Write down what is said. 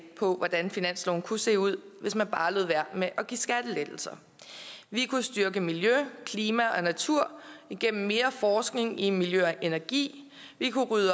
på hvordan finansloven kunne se ud hvis man bare lod være med at give skattelettelser vi kunne styrke miljø klima og natur igennem mere forskning i miljø og energi vi kunne rydde